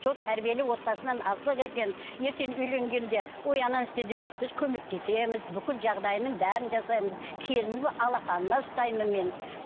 сол тәрбиелі отбасынан алсақ екен ертең үйленгенде ой ананы істе емес біз көмектесеміз бүкіл жағдайының бәрін жасаймыз келінімді алақаныма ұстаймын мен